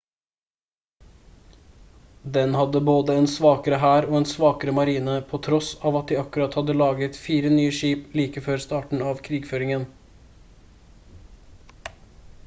den hadde både en svakere hær og en svakere marine på tross av at de akkurat hadde laget 4 nye skip like før starten av krigføringen